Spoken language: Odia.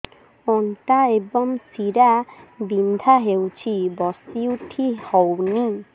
ଅଣ୍ଟା ଏବଂ ଶୀରା ବିନ୍ଧା ହେଉଛି ବସି ଉଠି ହଉନି